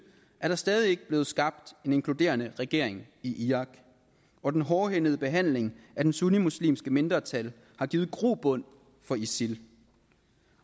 er der stadig ikke blevet skabt en inkluderende regeringen i irak og den hårdhændede behandling af det sunnimuslimske mindretal har givet grobund for isil